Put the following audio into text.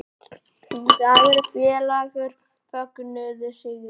Dagur og félagar fögnuðu sigri